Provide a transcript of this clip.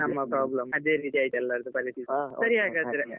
ನಮ್ಮ problem ಅದೇ ರೀತಿ ಆಯಿತು ಎಲ್ಲರದ್ದು ಪರಿಸ್ಥಿತಿ ಸರಿ ಹಾಗಾದ್ರೆ .